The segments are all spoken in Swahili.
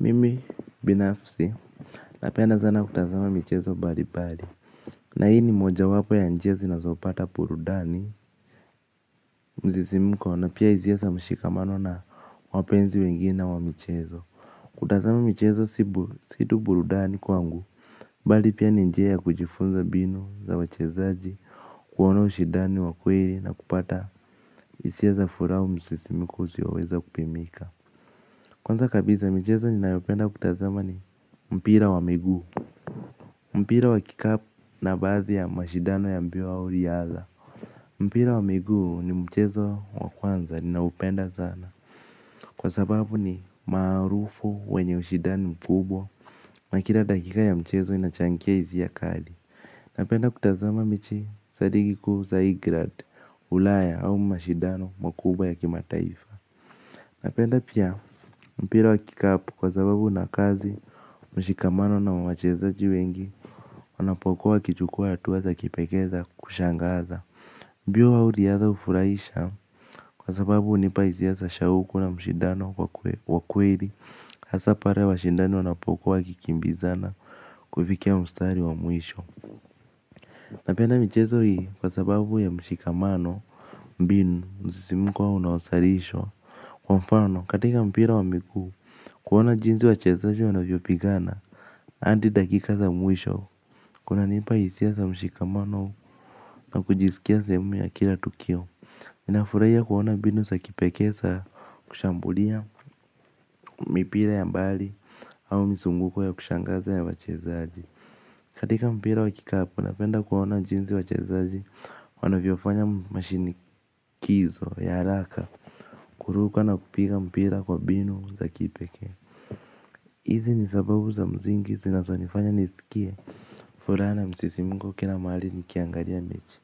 Mimi binafsi napenda sana kutazama michezo mbali mbali. Na hii ni moja wapo ya njia ninazopata burudani msisimko na pia huwezesha mshikamano na wapenzi wengine wa michezo. Kutazama michezo si burudani kwangu bali pia ni njia ya kujifunza mbinu za wachezaji kuona ushindani wa kweli na kupata hisia za furaha msisimko usioweza kupimika. Kwanza kabisa michezo ninayopenda kutazama ni mpira wa miguu. Mpira wa kikapu na baadhi ya mashindano ya mbio wa uriadha. Mpira wa miguu ni mchezo wa kwanza ninaoupenda sana. Kwa sababu ni maarufu wenye ushindani mkubwa na kila dakika ya mchezo inachangia hisia kali. Napenda kutazama mechi zaidi kikuu za england, ulaya au mashindano makubwa ya kimataifa. Napenda pia mpira wa kikapu kwa sababu una kazi, mshikamano na wachezaji wengi. Wanapokuwa wakichukuwa hatua za kipekee za kushangaza. Mbio au riadha hufurahisha. Kwa sababu hunipa hisia za shauku na mshindano wa kweli. Hasa pale washindani wanapokuwa wakikimbizana. Kufikia mstari wa mwisho. Napenda michezo hii kwa sababu ya mshikamano. Mbinu msisimko unaozalisha. Kwa mfano katika mpira wa miguu. Kuoana jinsi wachezaji wanavyopigana hadi dakika za mwisho. Kunanipa hisia za mshikamano na kujisikia sehemu ya kila tukio nafurahia kuona mbinu za kipekee za kushambulia mipira ya mbali au mizunguko ya kushangaza ya wachezaji, katika mpira wa kikapu napenda kuona jinsi wachezaji wanavyofanya mashinikizo ya haraka. Kuruka na kupiga mpira kwa mbinu za kipekee hizi ni sababu za msingi zinazonifanya nisikie furaha na msisimko kila mahali nikiangalia mechi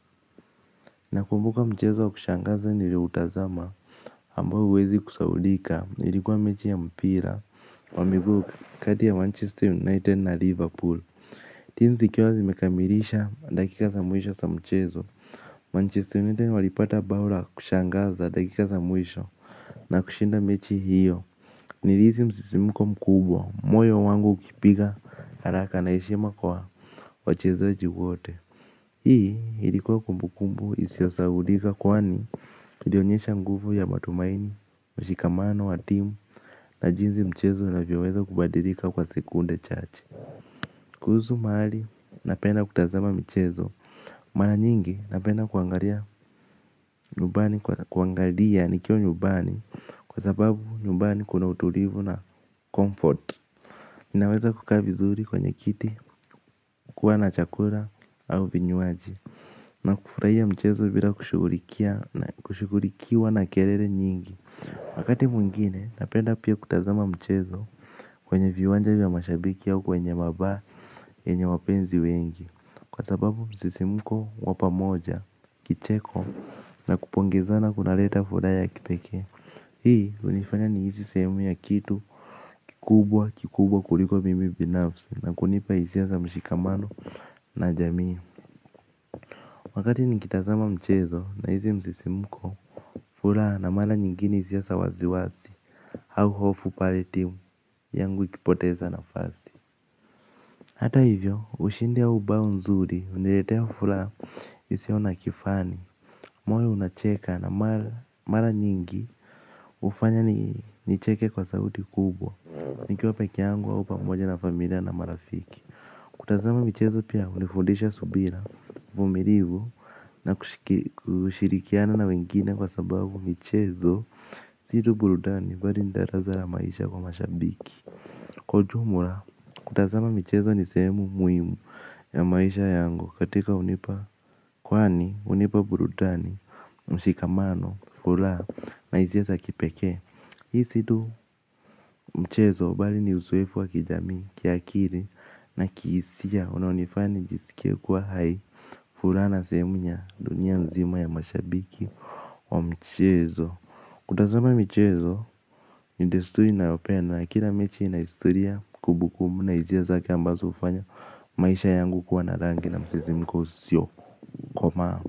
nakumbuka mchezo wa kushangaza nilioutazama ambao huwezi kusaulika ilikuwa mechi ya mpira wa miguu kati ya manchester united na liverpool teams ikiwa zimekamilisha dakika za mwisho za mchezo manchester united walipata bao la kushangaza dakika za mwisho na kushinda mechi hiyo nilihisi msisimko mkubwa moyo wangu ukipiga haraka na heshima kwa wachezaji wote. Hii ilikuwa kumbu kumbu isiosahaulika kwani ilionyesha nguvu ya matumaini, mshikamano, wa timu na jinsi mchezo unavyoweza kubadilika kwa sekunde chache. Kuhusu mahali napenda kutazama michezo, mara nyingi napenda kuangalia nyumbani kuangalia nikiwa nyumbani kwa sababu nyumbani kuna utulivu na comfort. Ninaweza kukaa vizuri kwenye kiti kuwa na chakula au vinywaji na kufurahia mchezo bila kushugulikiwa na kelele nyingi. Wakati mwingine napenda pia kutazama michezo kwenye viwanja vya mashabiki au kwenye mabaa wenye wapenzi wengi, kwa sababu msisimko wa pamoja, kicheko na kupongezana kunaleta furaha ya kipekee hii hunifanya nihisi sehemu ya kitu kikubwa kikubwa kuliko mimi binafsi na kunipa hisia za mshikamano na jamii. Wakati nikitazama mchezo na hizi msisimko furaha na mara nyingine hisia za wasiwasi au hofu pale timu yangu ikipoteza nafasi. Hata hivyo ushindi au bao nzuri huniletea furaha isio na kifani moyo unacheka na mara nyingi hufanya nicheke kwa sauti kubwa. Nikiwa pekeyangu au pamoja na familia na marafiki. Kutazama michezo pia hunifundisha subira vumilivu na kushirikiana na wengine kwa sababu michezo si tu burudani bali ni darasa la maisha kwa mashabiki. Kwa ujumla, kutazama michezo ni sehemu muhimu ya maisha yangu. Katika hunipa, kwani hunipa burudani, mshikamano, furaha na hisia za kipekee. Hii si tu mchezo bali ni uzoefu wa kijamii kiakili na kihisia unaonifanya nijisikie kuwa hai furaha na sehemu ya dunia nzima ya mashabiki wa mchezo. Kutazama michezo, ni desturi ninayopenda na kila mechi ina historia kumbukumbu na hisia zake ambazo hufanya maisha yangu kuwa na rangi na msisimko usio komaa.